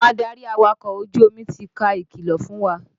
Àwọn adarí awakọ̀ ojú omi ti ka ìkìlọ̀ fún wa.